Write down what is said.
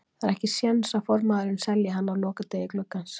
Það er ekki séns að formaðurinn selji hann á lokadegi gluggans.